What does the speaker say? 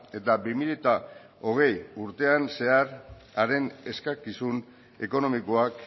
eta bi mila hogei urtean zehar haren eskakizun ekonomikoak